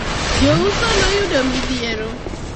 jouso noyudo midhiero